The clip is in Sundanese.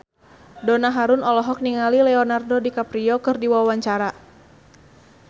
Donna Harun olohok ningali Leonardo DiCaprio keur diwawancara